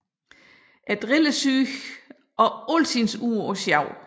Er drillesyg og altid ude på sjov